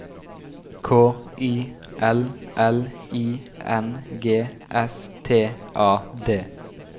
K Y L L I N G S T A D